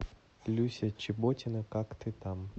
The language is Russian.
люся чеботина как ты там